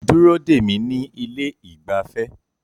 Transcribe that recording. Dúró dè mí ní ilé ìgbafẹ́